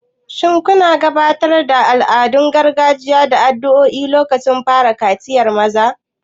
Shin suna gabatar da al'adun gargajiya da addu'o'i a lokacin fara kaciyar maza?